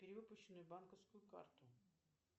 перевыпущенную банковскую карту